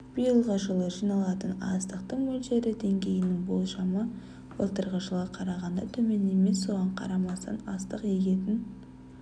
биылғы жылы жиналатын астықтың мөлшері деңгейінің болжамы былтырғы жылға қарағанда төмен емес соған қарамастан астық егетін